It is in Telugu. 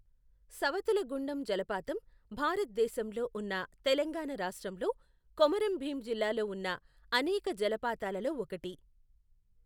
సవతుల గుండం జలపాతం, భారత్ దేశంలో ఉన్న తెలంగాణ రాష్ట్రంలో, కొమరం భీం జిల్లాలో ఉన్న అనేక జలపాతాలలో ఒకటి.